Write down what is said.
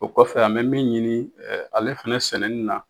O kɔfɛ an bɛ min ɲini ale fɛnɛ sɛnɛni na.